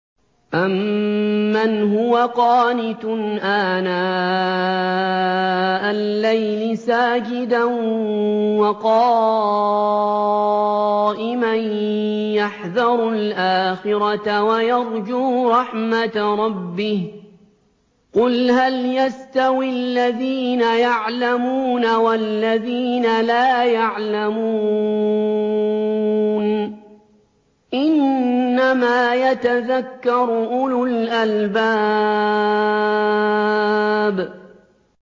أَمَّنْ هُوَ قَانِتٌ آنَاءَ اللَّيْلِ سَاجِدًا وَقَائِمًا يَحْذَرُ الْآخِرَةَ وَيَرْجُو رَحْمَةَ رَبِّهِ ۗ قُلْ هَلْ يَسْتَوِي الَّذِينَ يَعْلَمُونَ وَالَّذِينَ لَا يَعْلَمُونَ ۗ إِنَّمَا يَتَذَكَّرُ أُولُو الْأَلْبَابِ